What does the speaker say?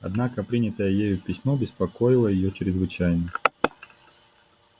однако принятое ею письмо беспокоило её чрезвычайно